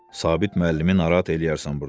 Sabit müəllimi narahat eləyərsən burda.